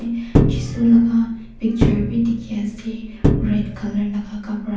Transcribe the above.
Jesu laka picture beh dekhe ase red colour laka kapra.